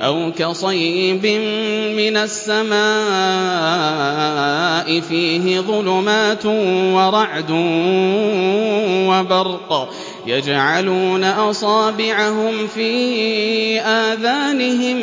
أَوْ كَصَيِّبٍ مِّنَ السَّمَاءِ فِيهِ ظُلُمَاتٌ وَرَعْدٌ وَبَرْقٌ يَجْعَلُونَ أَصَابِعَهُمْ فِي آذَانِهِم